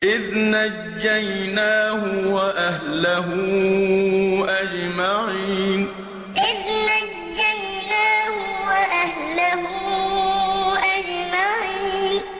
إِذْ نَجَّيْنَاهُ وَأَهْلَهُ أَجْمَعِينَ إِذْ نَجَّيْنَاهُ وَأَهْلَهُ أَجْمَعِينَ